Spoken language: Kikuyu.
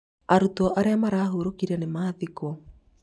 arutwo arĩa marahũrũkire nĩmathikwo